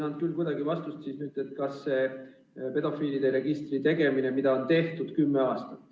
Ma ei saanud ikkagi vastust küsimusele, kas pedofiilide registri loomisega tegeldakse.